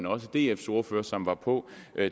og dfs ordfører som var på